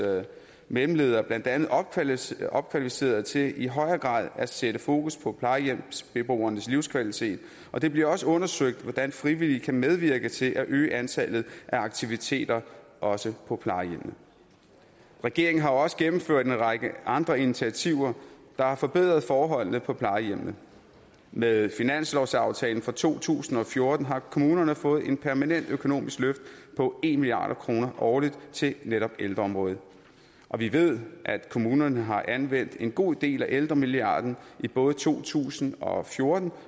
mellemledere blandt andet opkvalificeret opkvalificeret til i højere grad at sætte fokus på plejehjemsbeboernes livskvalitet og det blev også undersøgt hvordan frivillige kan medvirke til at øge antallet af aktiviteter også på plejehjemmene regeringen har også gennemført en række andre initiativer der har forbedret forholdene på plejehjemmene med finanslovsaftalen for to tusind og fjorten har kommunerne fået et permanent økonomisk løft på en milliard kroner årligt til netop ældreområdet og vi ved at kommunerne har anvendt en god del af ældremilliarden i både to tusind og fjorten